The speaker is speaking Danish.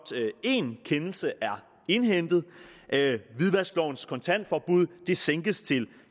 én kendelse er indhentet hvidvasklovens kontantforbud sænkes til